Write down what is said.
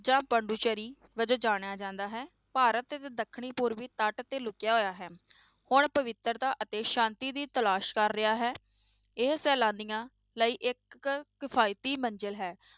ਜਾਂ ਪੋਂਡੀਚਰੀ ਵਜੋਂ ਜਾਣਿਆ ਜਾਂਦਾ ਹੈ ਭਾਰਤ ਦੇ ਦੱਖਣੀ ਪੂਰਬੀ ਤੱਟ ਤੇ ਲੁੱਕਿਆ ਹੋਇਆ ਹੈ, ਹੁਣ ਪਵਿਤਰਤਾ ਅਤੇ ਸਾਂਤੀ ਦੀ ਤਲਾਸ਼ ਕਰ ਰਿਹਾ ਹੈ, ਇਹ ਸੈਲਾਨੀਆਂ ਲਈ ਇੱਕ ਕਿਫ਼ਾਇਤੀ ਮੰਜ਼ਿਲ ਹੈ।